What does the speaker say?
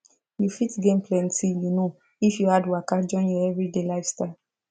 you fit gain plenty you know if you add waka join your everyday lifestyle